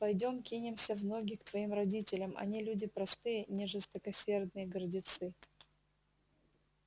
пойдём кинемся в ноги к твоим родителям они люди простые не жестокосердые гордецы